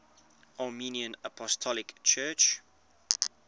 armenian apostolic church